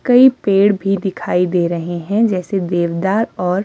कई पेड़ भी दिखाई दे रहे हैं जैसे देवदार और--